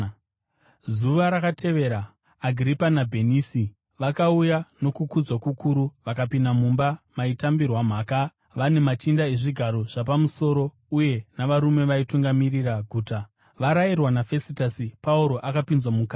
Zuva rakatevera, Agiripa naBhenisi vakauya nokukudzwa kukuru vakapinda mumba maitambirwa mhaka vane machinda ezvigaro zvapamusoro uye navarume vaitungamirira guta. Varayirwa naFesitasi, Pauro akapinzwa mukati.